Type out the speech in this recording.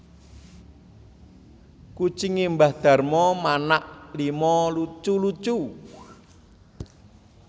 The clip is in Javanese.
Kucinge mbah Darmo manak lima lucu lucu